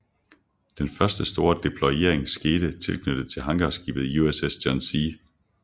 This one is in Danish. Den første store deployering skete tilknyttet til hangarskibet USS John C